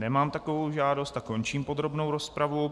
Nemám takovou žádost a končím podrobnou rozpravu.